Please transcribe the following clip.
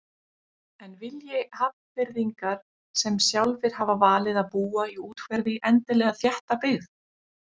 En vilji Hafnfirðingar sem sjálfir hafa valið að búa í úthverfi endilega þétta byggð?